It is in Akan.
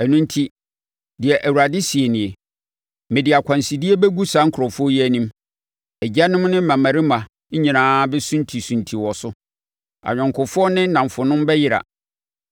Ɛno enti, deɛ Awurade seɛ nie: “Mede akwansideɛ bɛgu saa nkurɔfoɔ yi anim. Agyanom ne mmammarima nyinaa bɛsuntisunti wɔ so; ayɔnkofoɔ ne nnamfonom bɛyera.”